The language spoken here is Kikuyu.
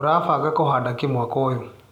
ũrabanga kũhanda kĩ mwaka ũyũ.